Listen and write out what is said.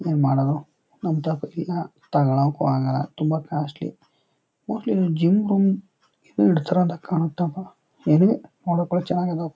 ಏನ್ ಮಾಡದು ನಮ್ ಥಕ್ ಇಲ ತೊಗೊಳಕ್ಕೂ ಆಗಲ್ಲ ತುಂಬಾ ಕಾಸ್ಟ್ಲಿ ಮೋಸ್ಟ್ಲಿ ಒಂದ್ ಜಿಮ್ ಗಮ್ ಇಡ್ತಾರೆ ಅಂತ ಕಾಣತಪ್ಪ